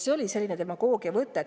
See oli selline demagoogiavõte.